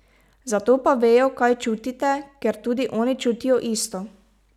Zato pa vejo, kaj čutite, ker tudi oni čutijo isto.